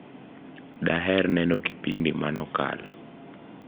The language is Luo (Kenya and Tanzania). daher neno kipindi mano kalo